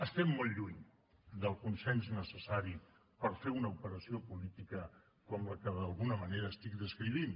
estem molt lluny del consens necessari per fer una operació política com la que d’alguna manera estic descrivint